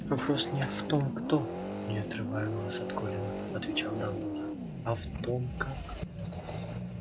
вопрос не в том кто не отрывая глаз от колина отвечал дамблдор а в том как